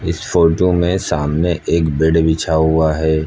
इस फोटो में सामने एक बेड बिछा हुआ है।